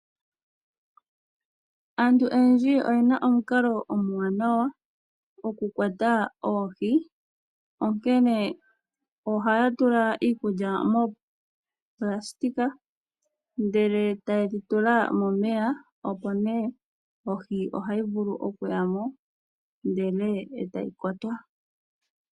Aantu oyendji oye na omukalo omuwanawa gokukwata oohi. Ohaya tula iikulya moonayilona e taye dhi tula momeya. Oohi ohadhi yi nduno monayilona moka e ta yi kwatwa.